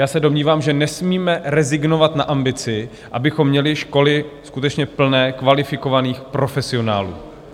Já se domnívám, že nesmíme rezignovat na ambici, abychom měli školy skutečně plné kvalifikovaných profesionálů.